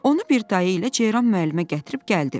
Onu bir dayı ilə Ceyran müəllimə gətirib gəldi.